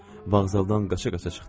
Vağzaldan qaça-qaça çıxdım.